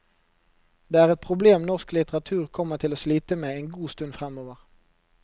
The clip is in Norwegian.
Det er et problem norsk litteratur kommer til å slite med en god stund fremover.